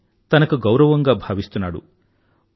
అది తనకు గౌరవంగా భావిస్తున్నాడు